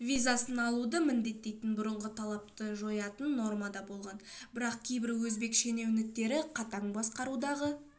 визасын алуды міндеттейтін бұрынғы талапты жоятын норма да болған бірақ кейбір өзбек шенеуніктері қатаң басқарудағы